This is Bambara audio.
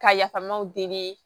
Ka yafamaw deli